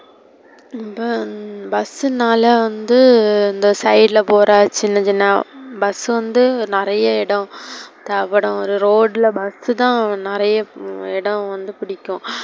bus னால வந்து இந்த side ல போற சின்ன சின்ன bus வந்து நெறைய இடம் தேவபடும். ஒரு road ல bus தான் நெறைய இடம் வந்து புடிக்கும்.